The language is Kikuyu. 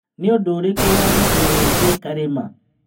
Nĩ ũndũ ũrĩkũ warĩrĩirio wĩgiĩ Karĩma?